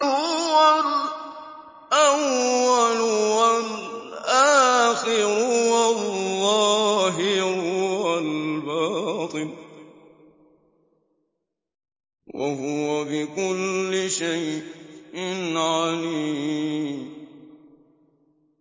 هُوَ الْأَوَّلُ وَالْآخِرُ وَالظَّاهِرُ وَالْبَاطِنُ ۖ وَهُوَ بِكُلِّ شَيْءٍ عَلِيمٌ